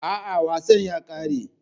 A'a, wasan ya kare.